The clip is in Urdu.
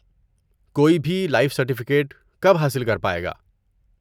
کوئی بھی لائف سرٹیفکیٹ کب حاصل کر پائے گا؟